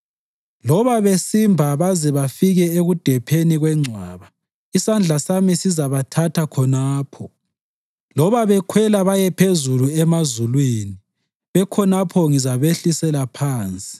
Loba besimba baze bafike ekudepheni kwengcwaba, isandla sami sizabathatha khonapho. Loba bekhwela baye phezulu emazulwini, bekhonapho ngizabehlisela phansi.